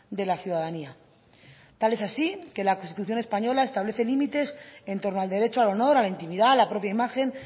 de la ciudadanía tal es así que la constitución española establece límites en torno al derecho al honor a la intimidad la propia imagen